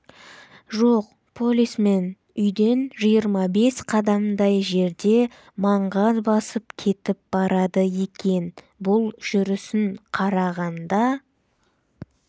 жоқ полисмен үйден жиырма бес қадамдай жерде маңғаз басып кетіп барады екен бұл жүрісін қарағанда